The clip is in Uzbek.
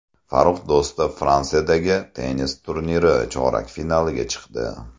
Farrux Do‘stov Fransiyadagi tennis turniri chorak finaliga chiqdi.